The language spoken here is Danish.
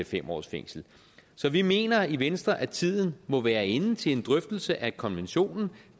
fem års fængsel så vi mener i venstre at tiden må være inde til en drøftelse af konventionen